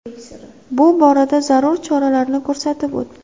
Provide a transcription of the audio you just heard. Bu borada zarur choralarni ko‘rsatib o‘tdi.